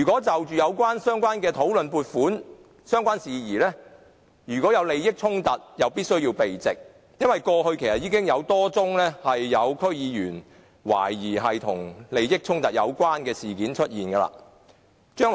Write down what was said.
在討論相關撥款事宜時，如果有利益衝突，便必須避席，因為過去已有多宗懷疑區議員涉及利益衝突的事件發生。